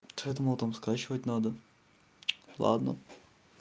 то я думал там скачивать надо ладно